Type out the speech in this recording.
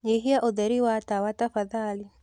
nyĩhĩa ũtheri wa tawa tafadhalĩ